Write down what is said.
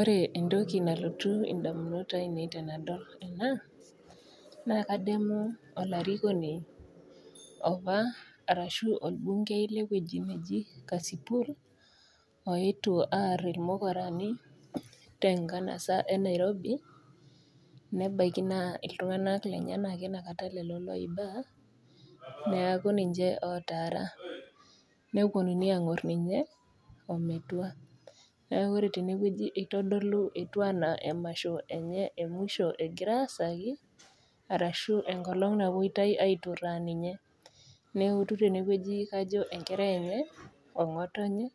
Ore entoki nalotu indamunot ainei tenadol ena naa kademu olarikoni opa arashu olbungei lewueji neji kasipul oetuo arr irmukurani tenkanasa e nairobi nebaiki naa iltung'anak lenyenak ake inakata lelo loiba neaku ninche otaara neaku ninche otaara neponunui ang'orr ninye ometua neaku ore tenewueji itodolu etu anaa emasho enye emusho egira aasaki arashu enkolong napuoitai aiturraa ninye neutu tenewueji kajo enkerai enye ong'otonye